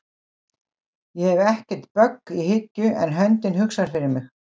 Ég hef ekkert bögg í hyggju en höndin hugsar fyrir mig